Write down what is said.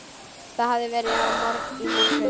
Það hafði verið í morgun.